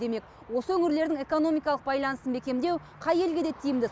демек осы өңірлердің экономикалық байланысын бекемдеу қай елге де тиімді